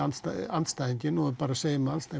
andstæðinginn og segjum hann